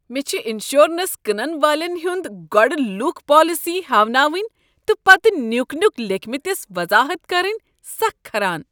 مےٚ چھ انشورنس کٕنن والٮ۪ن ہٕنٛد گۄڈٕ لوٗکھ پالیسی ہیٛاوناوٕنۍ تہٕ پتہٕ نیُک نیُک لیكھمتِس وضاحت کرٕنۍ سکھ کھران۔